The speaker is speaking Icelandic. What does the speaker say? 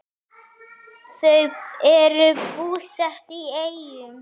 Þau eru búsett í Eyjum.